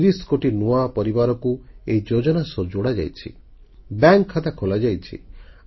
30 କୋଟି ନୂଆ ପରିବାରକୁ ଏହି ଯୋଜନା ସହ ଯୋଡ଼ାଯାଇଛି ବ୍ୟାଙ୍କ ଖାତା ଖୋଲାଯାଇଛି